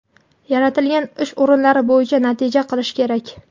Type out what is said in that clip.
yaratilgan ish o‘rinlari bo‘yicha natija qilishi kerak.